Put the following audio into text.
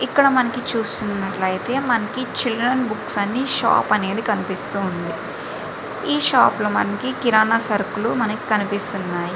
ఇక్కడ మనము చూస్తునట్టు అయితే మనకి ఇక్కడ చిల్ద్రెన్ బుక్స్ కనిపిస్తున్నాయి. ఈ షాప్ లొ మనకు కిరణ సరుకులు మనకి కనిపిస్తున్నాయి.